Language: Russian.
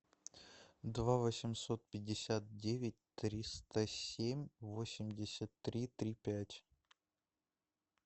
два восемьсот пятьдесят девять триста семь восемьдесят три три пять